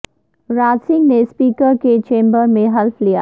راجہ سنگھ نے اسپیکر کے چیمبر میں حلف لیا